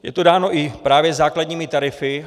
Je to dáno právě i základními tarify.